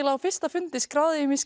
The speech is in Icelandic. á fyrsta fundi skráði ég mig í